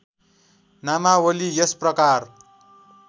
नामावली यस प्रकार